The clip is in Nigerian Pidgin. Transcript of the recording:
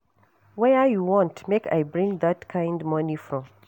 Where you want make I bring dat kin money from?